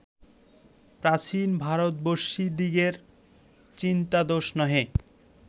প্রাচীন ভারতবর্ষীয়দিগের চিন্তাদোষ নহে